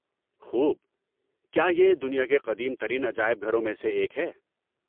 خوب! کیا یہ دنیا کے قدیم ترین عجائب گھروں میں سے ایک ہے؟